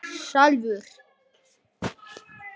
Fanný, hvernig er veðurspáin?